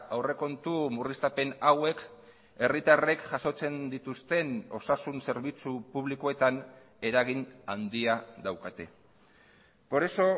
aurrekontu murriztapen hauek herritarrek jasotzen dituzten osasun zerbitzu publikoetan eragin handia daukate por eso